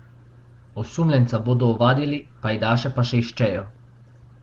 Osumljenca bodo ovadili, pajdaše pa še iščejo.